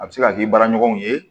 A bɛ se ka kɛ i baaraɲɔgɔnw ye